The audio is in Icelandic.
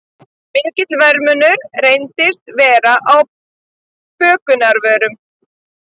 Mikill verðmunur reyndist vera á bökunarvörum